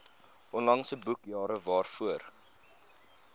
onlangse boekjare waarvoor